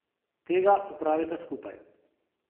Tega opravita skupaj.